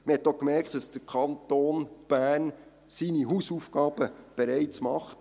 Man hat auch gemerkt, dass der Kanton Bern seine Hausaufgaben bereits macht.